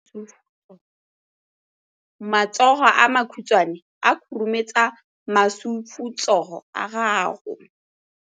Matsogo a makhutshwane a khurumetsa masufutsogo a gago.